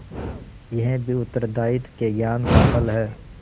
यह भी उत्तरदायित्व के ज्ञान का फल है